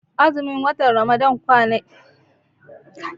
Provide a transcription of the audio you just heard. Azumin watan Ramadan kwani ki ashirin da tara ne ko talatin